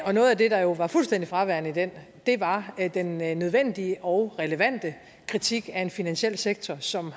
og noget af det der jo var fuldstændig fraværende i den var den nødvendige og relevante kritik af en finansiel sektor som